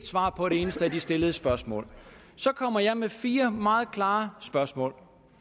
svar på et eneste af de stillede spørgsmål så kommer jeg med fire meget klare spørgsmål